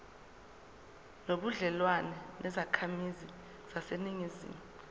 nobudlelwane nezakhamizi zaseningizimu